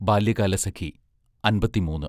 ബാല്യകാലസഖി അൻപത്തിമൂന്ന്